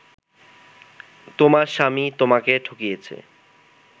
তোমার স্বামী তোমাকে ঠকিয়েছে